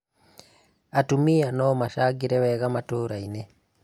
Atumia nomacangĩre wega matũrainĩ